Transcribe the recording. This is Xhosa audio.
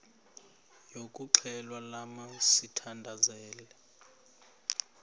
yokuxhelwa lamla sithandazel